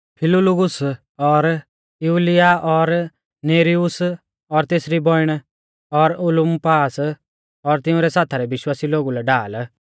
फिलुलुगुस और युलिया और नेर्युस और तेसरी बौइण और उलुम्पास और तिंउरै साथा रै विश्वासी लोगु लै ढाल